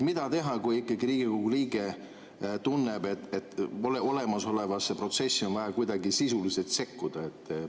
Mida teha, kui ikkagi Riigikogu liige tunneb, et olemasolevasse protsessi on vaja kuidagi sisuliselt sekkuda?